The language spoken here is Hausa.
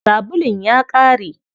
Sabulun ya ƙare.